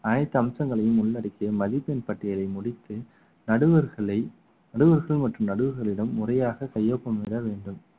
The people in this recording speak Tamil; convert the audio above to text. அனைத்து அம்சங்களையும் உள்ளடக்கிய மதிப்பெண் பட்டியலை முடித்து நடுவர்களை நடுவர்கள் மற்றும் நடுவர்களிடம் முறையாக கையொப்பம் இட வேண்டும்